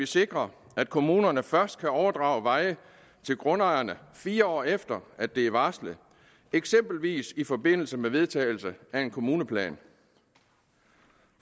sikrer at kommunerne først kan overdrage veje til grundejerne fire år efter at det er varslet eksempelvis i forbindelse med vedtagelse af en kommuneplan